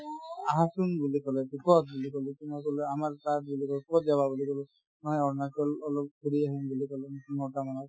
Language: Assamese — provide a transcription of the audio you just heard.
আহাচোন বুলি ক'লে to ক'ত বুলি ক'লো to মই ক'লো আমাৰ তাত বুলি ক'লো ক'ত যাবা বুলি ক'লো মই অৰুণাচল অলপ ঘূৰি আহিম বুলি ক'লো নটা মানত